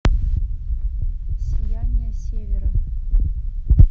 сияние севера